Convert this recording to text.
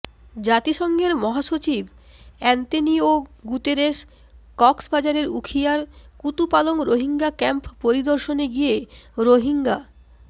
জাতিসংঘের মহাসচিব Antonio Guterres কক্সবাজারের উখিয়ার কুতুপালং রোহিঙ্গা ক্যাম্প পরিদর্শনে গিয়ে রোহিঙ্গা